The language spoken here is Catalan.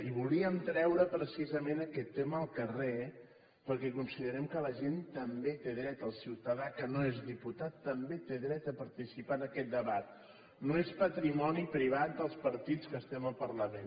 i volíem treure precisament aquest tema al carrer perquè considerem que la gent també té dret el ciutadà que no és diputat també té dret a participar en aquest debat no és patrimoni privat dels partits que estem al parlament